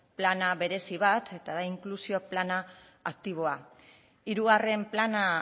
plan berezi bat eta da inklusio plana aktiboa hirugarren plana